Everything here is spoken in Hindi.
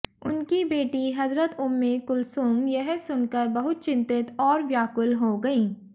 उनकी बेटी हज़रत उम्मे कुलसूम यह सुनकर बहुत चिंतित और व्याकुल हो गईं